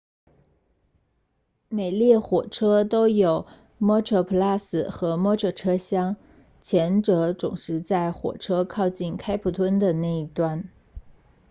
每列火车都有 metroplus 和 metro 车厢前者总是在火车靠近开普敦的那一端